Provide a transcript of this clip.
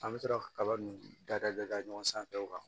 An bɛ sɔrɔ ka kaba nun dada da ɲɔgɔn sanfɛ o kan